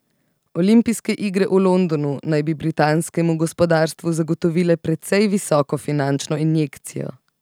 Olimpijske igre v Londonu bi naj britanskemu gospodarstvu zagotovile precej visoko finančno injekcijo.